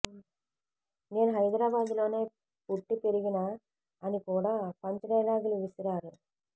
నేను హైదరాబాద్ లోనే పుట్టి పెరిగిన అని కూడా పంచ్ డైలాగులు విసిరారు